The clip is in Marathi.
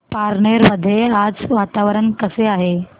पारनेर मध्ये आज वातावरण कसे आहे